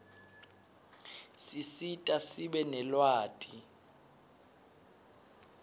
sisita sibe nelwati